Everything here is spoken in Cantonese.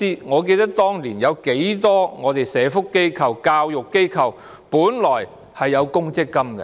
我記得，當年很多社福機構和教育機構本來實行公積金計劃。